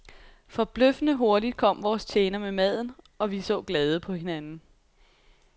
Forbløffende hurtigt kom vores tjener med maden, og vi så glade på hinanden.